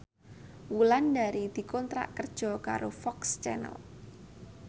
Wulandari dikontrak kerja karo FOX Channel